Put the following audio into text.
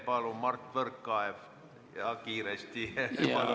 Palun, Mart Võrklaev, ja kiiresti!